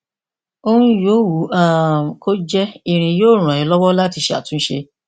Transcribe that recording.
ohun yòówù um kó jé irin yóò ràn ẹ lọwọ láti ṣàtúnṣe